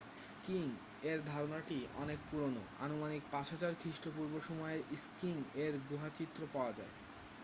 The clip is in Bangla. স্কিইং এর ধারণাটি অনেক পুরানো আনুমানিক 5000 খ্রিস্টপূর্ব সময়ের স্কিইং এর গুহা চিত্র পাওয়া যায়